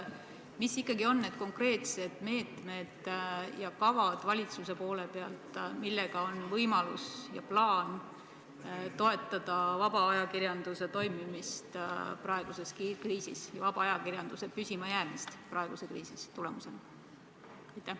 Mis ikkagi on need konkreetsed meetmed ja kavad valitsuse poole pealt, millega on plaan toetada vaba ajakirjanduse toimimist praeguses kriisis ja vaba ajakirjanduse püsimajäämist praeguse kriisi tulemusena?